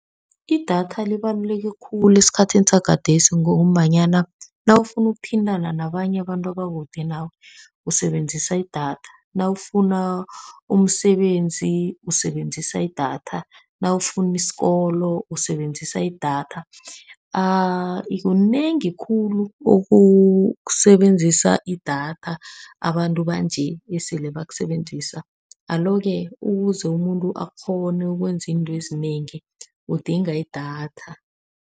Idatha libaluleke khulu esikhathini sakhathesi ngombanyana nawufuna ukuthintana nabanye abantu abakude nawe, usebenzisa idatha, nawufuna umsebenzi usebenzisa idatha, nawufuna isikolo usebenzisa idatha. Kunengi khulu okusebenzisa idatha, abantu banje esele bakusebenzisa. Alo-ke ukuze umuntu akghone ukwenza izinto ezinengi, udinga idatha.